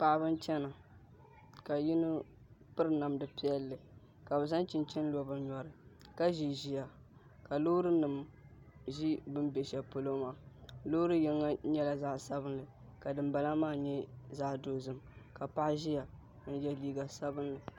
Paɣaba n chɛna ka yino piri namdi piɛlli ka bi zaŋ chinchin lo bi nyɔri ka ʒi ʒiya ka loori nim ʒi bi ni bɛ shɛli polo maa loori yinga nyɛla zaɣ sabinli ka dinbala maa nyɛ zaɣ dozim ka paɣa ʒiya n yɛ liiga sabinli